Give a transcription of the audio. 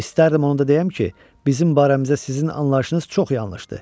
İstərdim onu da deyəm ki, bizim barəmizdə sizin anlayışınız çox yanlışdır.